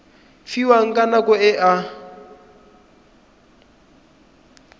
fiwang ka nako e a